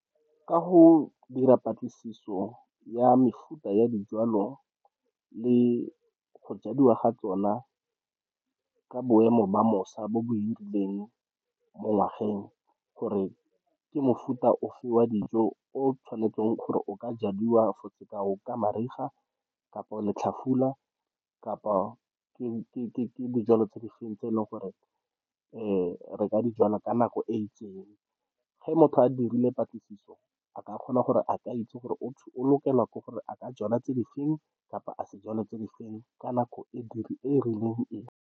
Ka go dira patlisiso ya mefuta ya dijwalo le go jadiwa ga tsona ka boemo ba mosa bo bo hirilweng mo ngwageng gore ke mofuta ofe wa dijo o tshwanetseng gore o ka jadiwa. For sekao, ka mariga kapa letlhafula kapa ke dijalo tse di feng tse e leng gore re re ka dijalwa ka nako e itseng, ge motho a dirile patlisiso a ka kgona gore a ke a itse gore o lokelwa ke gore a ka jalwa tse di feng kapa a se jalwe tse di feng ka nako e rileng e.